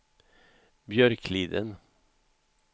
Björkliden